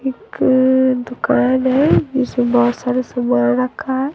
एक दुकान है जिसमें बहोत सारे सामान रखा है।